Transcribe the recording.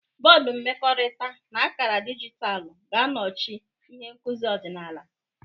Bọdụ mmekọrịta na akara dijitalụ ga-anọchi ihe nkuzi ọdịnala.